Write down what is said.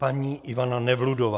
Paní Ivana Nevludová.